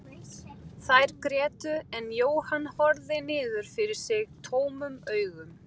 Þær grétu en Jóhann horfði niður fyrir sig tómum augum.